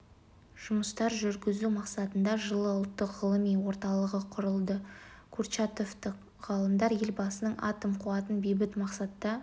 жұмыстар жүргізу мақсатында жылы ұлттық ғылыми орталығы құрылды курчатовтық ғалымдар елбасының атом қуатын бейбіт мақсатта